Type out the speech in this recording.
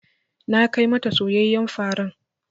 Na kai ma ta soyayyen farar.